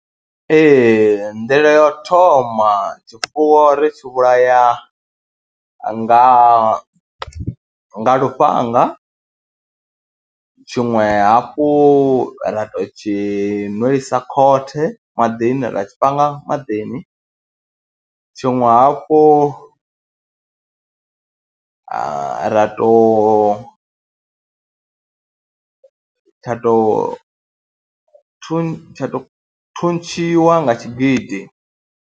Nḓila ya u thoma tshifuwo ri tshi vhulaya nga lufhanga, tshiṅwe hafhu u ra tou tshi nwisa khothe maḓini, ra tshi panga maḓini. Tshiṅwe hafhu ra tou, tsha tou thun, tsha tou thuntshiwa nga tshigidi.